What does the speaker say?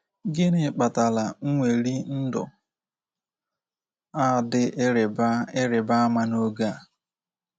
Gịnị kpatara nweli ndụ a dị ịrịba ịrịba ama n’oge a?